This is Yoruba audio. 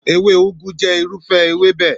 Èwe Ugwu jẹ́ irúfẹ́ ewébẹ̀.